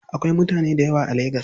Akwai mutane dayawa a lagas?